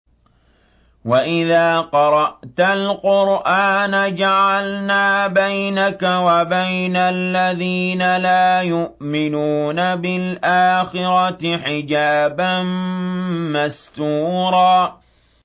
وَإِذَا قَرَأْتَ الْقُرْآنَ جَعَلْنَا بَيْنَكَ وَبَيْنَ الَّذِينَ لَا يُؤْمِنُونَ بِالْآخِرَةِ حِجَابًا مَّسْتُورًا